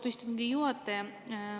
Austatud istungi juhataja!